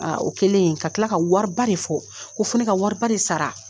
o kɛlen, ka tila ka wari de fɔ, ko fo ne ka wari ba de sara.